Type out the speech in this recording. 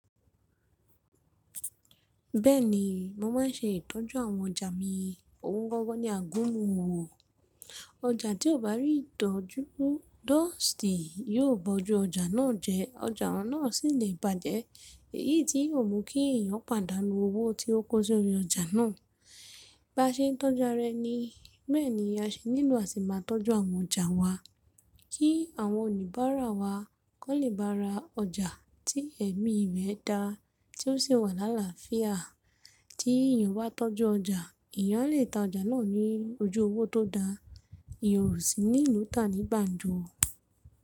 Bẹ́ẹ̀ni, mo máa ń ṣe ìtọ́jú àwọn ọjà mi. Ohun gangan ni àgúnmu owo. Ojà tí o bá rí ìtọ̀ọ́jú, dọ́ọ̀stì ni yóò bọ́jú ọjà náà jẹ, ọjà náà sì lè bàjẹ́, èyí tí yóò mú kí èèyàn pàdánù owó tí ó kó sí orí ọjà náà. Baa ṣe n tọ́ju ara ẹ ni. Bẹ́ẹ̀ni a ṣe nílò a ti máa tọ́jú àwọn ọjà wa, kí àwọn olubàràa wa kó lè ba ra ọjà tí ẹ̀mí rẹ̀ dá tí ó sì wà lálafíà. Tí èèyàn bá tọ́jú ọjà, èèyàn lè ta ọjà náà ní ojú owó tó dáa, èèyàn ó sì ní lu ta ní gbàǹjo.